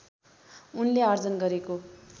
उनले आर्जन गरेको